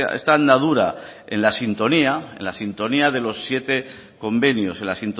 esta andadura en la sintonía de los siete convenios en la